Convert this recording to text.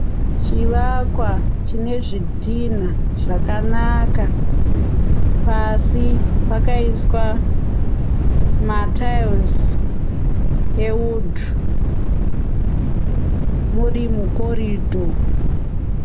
Chivakwa chinezvidhinha zvakanaka, pasi pakaiswa matiles ewudhu, muri mukorido